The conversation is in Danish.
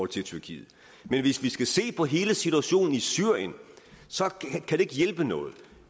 til tyrkiet men hvis vi skal se på hele situationen i syrien kan det ikke hjælpe noget